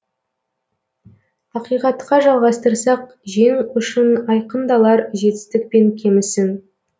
ақиқатқа жалғастырсақ жең ұшын айқындалар жетістік пен кемісің